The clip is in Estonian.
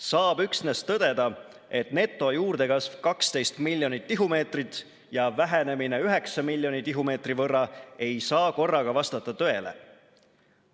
Saab üksnes tõdeda, et netojuurdekasv 12 miljonit tihumeetrit ja vähenemine 9 miljoni tihumeetri võrra ei saa korraga vastata tõele.